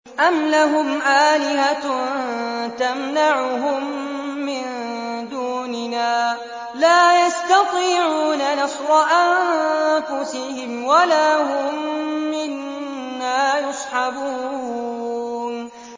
أَمْ لَهُمْ آلِهَةٌ تَمْنَعُهُم مِّن دُونِنَا ۚ لَا يَسْتَطِيعُونَ نَصْرَ أَنفُسِهِمْ وَلَا هُم مِّنَّا يُصْحَبُونَ